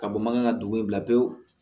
Ka bɔ mankan ka dugu in bila pewu